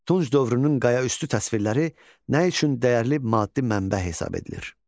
Tunç dövrünün qayaüstü təsvirləri nə üçün dəyərli maddi mənbə hesab edilir?